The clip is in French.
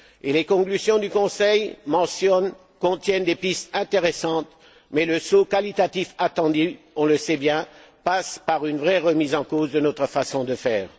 Les conclusions du Conseil contiennent des pistes intéressantes, mais le saut qualitatif attendu on le sait bien passe par une vraie remise en cause de notre façon de faire.